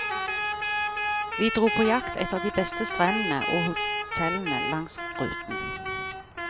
Vi dro på jakt etter de beste strendene og hotellene langs ruten.